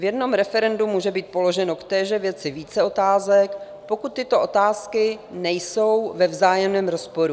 V jednom referendu může být položeno v téže věci více otázek, pokud tyto otázky nejsou ve vzájemném rozporu.